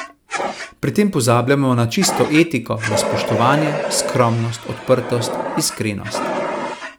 Pri tem pozabljamo na čisto etiko, na spoštovanje, skromnost, odprtost, iskrenost.